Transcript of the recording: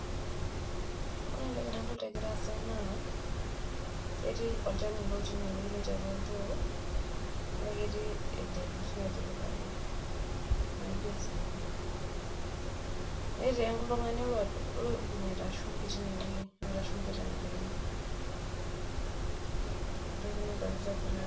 Ore entoki nadolta egira aasa naa ketii olchani otii ine wueji otii atua oltoo naa ketii enterit natipikaki naijo osinyai ,netii oltungani oibungita shumbi teine wuei ashu shumbi tenkaina ina entoki nadolita egira...